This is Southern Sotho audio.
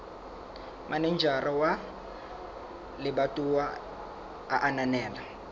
manejara wa lebatowa a ananela